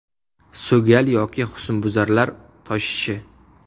So‘gal yoki husnbuzarlar toshishi.